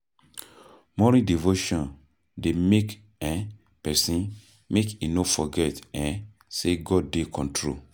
Morning devotion dey make um pesin make e no forget um say God dey control.